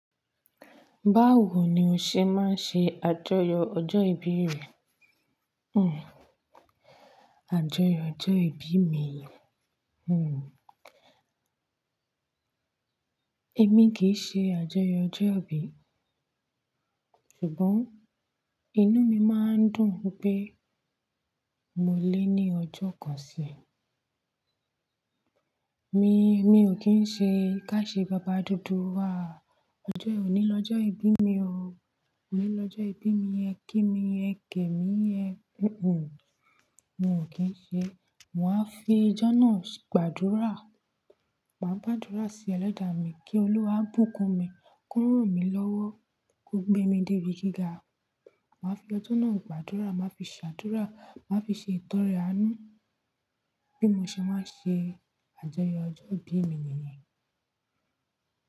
Báwo ni o ṣe máa ń ṣe àjọyọ̀ ọjọ́ ìbí rẹ? Hmh. Àjọyọ̀ ọjọ́ ìbí mi? Hmh. Èmi kì í ṣe àjọyọ̀ ọjọ́ ìbí. Ṣùgbọ́n, inú mi máa ń dùn pé mo lé ní ọjọ́ kan sí i. Mi, mi ò kí ń ṣe ká ṣe baba dúdú áh. Ọjọ́ òní lọ́jọ́ ìbí mi o. Òní lọ́jọ́ ìbí mi, ẹ kí mi, ẹ gẹ̀ mi, ẹ Hmh. Mo ò kí ń ṣe. Màá fi ọjọ́ náà gbàdúrà. Màá gbàdúrà sí eledá mi, kí Olúwa bùkún mi, kó ràn mí lọ́wọ́, kó gbé mi dé ibi gíga. Màá fi ọjọ́ náà gbàdúrà, màá fi ṣàdúrà, màá fi ṣe ìtọrẹ àánú bí mo ṣe máa ń ṣe àjọyọ̀ ọjọ́ ìbí mi nìyẹn.